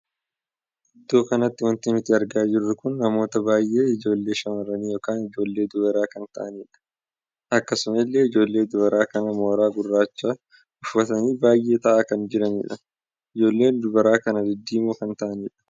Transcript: Iddoo kanatti wanti nuti argaa jirru kun namoota baay'ee ijoollee shamarranii ykn ijoollee dubaraa kan taa'anidha. akkasuma illee ijoollee dubaraa kun mooraa gurraacha uffatanii baay'atanii taa'aa kan jiranidha. ijoolleen dubaraa kun diddiimoo kan taa'anidha.